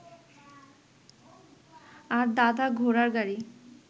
আর দাদা ঘোড়ার গাড়ি